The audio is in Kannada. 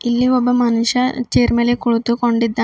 ಇಲ್ಲಿ ಒಬ್ಬ ಮನುಷ್ಯ ಚೇರ್ ಮೇಲೆ ಕುಳಿತುಕೊಂಡಿದ್ದ--